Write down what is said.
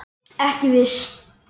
Ekki viss